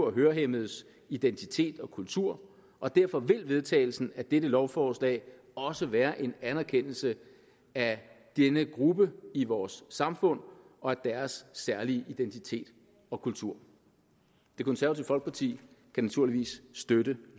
og hørehæmmedes identitet og kultur og derfor vil vedtagelsen af dette lovforslag også være en anerkendelse af denne gruppe i vores samfund og af deres særlige identitet og kultur det konservative folkeparti kan naturligvis støtte